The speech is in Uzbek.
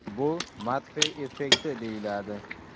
Bu Matfey effekti deyiladi.